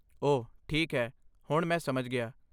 ਓਹ ਠੀਕ ਹੈ, ਹੁਣ ਮੈਂ ਸਮਝ ਗਿਆ।